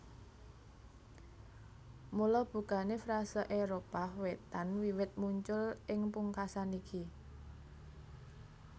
Mula bukané frase Éropah Wétan wiwit muncul ing pungkasan iki